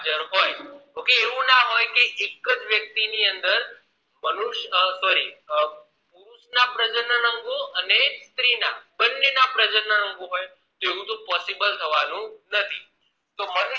એવું ના હોય કે એક જ વ્યક્તી ની અંદર મનુષ્ sorry પુરુષ ના પ્રજનન અંગો અને સ્ત્રીના બને ના પ્રજનન અંગો હોય એવું તોહ possible થવાનું નથી